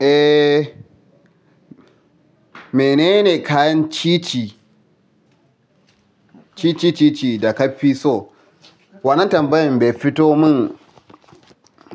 Eh, menene kayan cici cici cici da ka fi so? Wannan tambayin bai fito mun